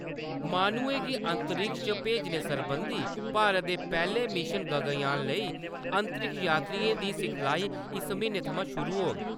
माह्नुएं गी अंतरिक्ष च भेजने सरबंधी भारत दे पैह्ले मिशन गगनयान लेई अंतरिक्ष यात्रिएं दी सिखलाई इस म्हीने थमां शुरू होग।